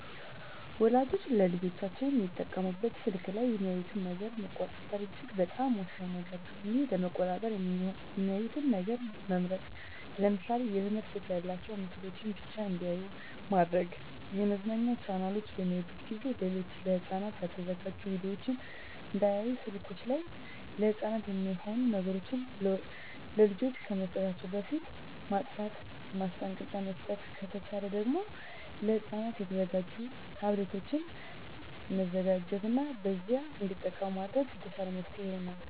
ወላጆች ለልጆቻቸው የሚጠቀሙበት ስልክ ላይ የሚያዩትን ነገር መቆጣጠር እጅግ በጣም ወሳኝ ነገር ነው ይህን ለመቆጣጠር የሚያዩትን ነገር መምረጥ ለምሳሌ የትምህርት ይዘት ያላቸውን ምስሎችን ብቻ እንዲያዩ ማድረግ የመዝናኛ ቻናሎችን በሚያዩበት ጊዜ ሌሎች ለህፃናት ያልተዘጋጁ ቪዲዮወችን እንዳያዩ ስልከችን ላይ ለህፃናት የማይሆኑ ነገሮች ለልጆች ከመስጠታችን በፊት ማጥፍት ማስጠንቀቂያ መስጠት ከተቻለ ደግም ለህፃናት የተዘጋጁ ታብሌቶችን መዘጋጀት እና በዚያ እንዲጠቀሙ ማድረግ የተሻለ መፍትሔ ይሆናል።